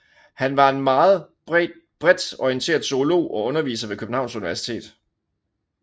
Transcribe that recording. Han var en meget bredt orienteret zoolog og underviser ved Københavns Universitet